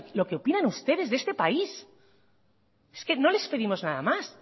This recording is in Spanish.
lo que opinan ustedes de este país es que no les pedimos nada más